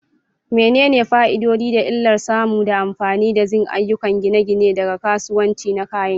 Menene fa'idodi da illar samun da amfani da zinc a ayyukan gine-gine daga kasuwanni na kayan gini?